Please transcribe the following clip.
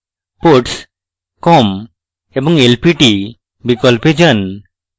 ports com & lpt বিকল্পতে যান